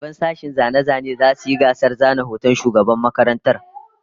Daliban sashen zane-zanen zasu yi gasar zana hoton shugaban makarantar